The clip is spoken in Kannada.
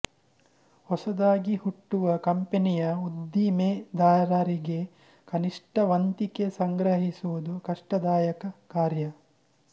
ಹೊಸದಾಗಿ ಹುಟ್ಟುವ ಕಂಪನಿಯ ಉದ್ದಿಮೆದಾರರಿಗೆ ಕನಿಷ್ಟ ವಂತಿಗೆ ಸಂಗ್ರಹಿಸುವುದು ಕಷ್ಟದಾಯಕ ಕಾರ್ಯ